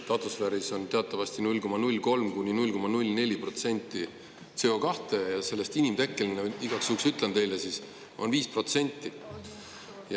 Atmosfääris on teatavasti 0,03–0,04% CO2 ja sellest inimtekkeline – igaks juhuks ütlen teile – on 5%.